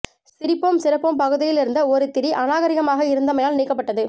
சிரிப்போம் சிறப்போம் பகுதியில் இருந்த ஒரு திரி அநாகரீகமாக இருந்தமையால் நீக்கப்பட்ட்டது